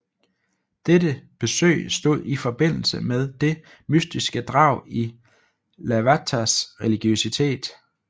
Dette besøg stod i forbindelse med det mystiske drag i Lavaters religiøsitet